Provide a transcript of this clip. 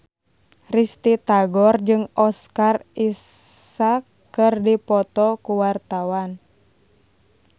Risty Tagor jeung Oscar Isaac keur dipoto ku wartawan